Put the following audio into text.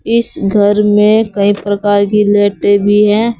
इस घर में कई प्रकार की लाइटें भी हैं।